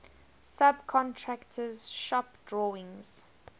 subcontractor shop drawings